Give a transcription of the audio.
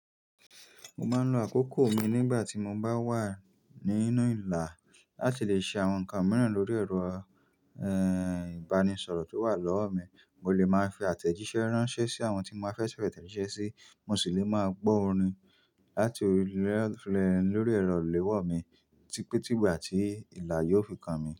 Mo máa ń lo àkókò mi nígbà tí mo bá wà nínú ìlà láti lè ṣe àwọn nǹkan mìíràn lórí ẹ̀rọ, ẹ, ìbánisọ̀rọ̀ tí ó wà lọ́wọ́ mi. Mo lè máa fi àtẹ̀jíṣẹ́ ránṣẹ́ sí àwọn tí mo fẹ́ fẹ́ tẹ̀jíṣẹ́ sí, mo sì lè máa gbọ orin láti orí ẹ́rọ lórí ẹ̀rọ ìléwọ́ mi tí pé tígbà tí ìlà yóò fi kan mi.